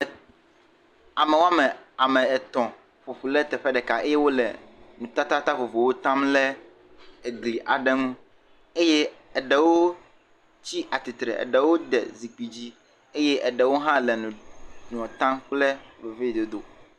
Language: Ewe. Ame woame, ame etɔ̃ ƒoƒu le teƒe ɖeka eye wole nutata vovovowo tam le egli aɖe ŋu eye tsi atsitre, eɖewo de zikpui dzi eye eɖewo hã le enuɔ tam kple veviedodo.